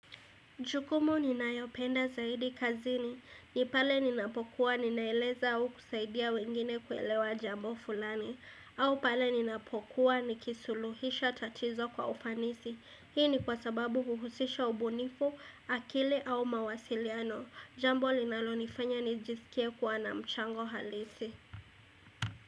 Jukumu ninayopenda zaidi kazini, ni pale ninapokuwa ninaeleza au kusaidia wengine kuelewa jambo fulani, au pale ninapokuwa nikisuluhisha tatizo kwa ufanisi, hii ni kwa sababu huhusisha ubunifu, akili au mawasiliano, jambo linalonifanya nijisikie kuwa na mchango halisi.